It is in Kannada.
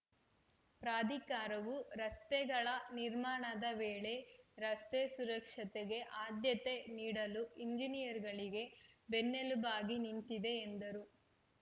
ಪ್ರಾಧಿಕಾರವು ರಸ್ತೆಗಳ ನಿರ್ಮಾಣದ ವೇಳೆ ರಸ್ತೆ ಸುರಕ್ಷತೆಗೆ ಆದ್ಯತೆ ನೀಡಲು ಇಂಜಿನಿಯರ್‌ಗಳಿಗೆ ಬೆನ್ನೆಲುಬಾಗಿ ನಿಂತಿದೆ ಎಂದರು